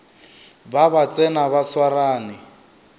ba ba tsena ba swarane